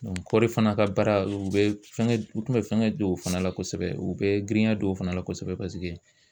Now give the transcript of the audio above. Kɔɔri fana ka baara u bɛ fɛngɛ u tun bɛ fɛngɛ don o fana la kosɛbɛ u bɛ girinya don o fana la kosɛbɛ paseke